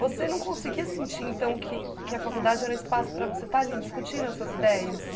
Você não conseguia sentir, então, que que a faculdade era um espaço para você estar ali discutindo as suas ideias?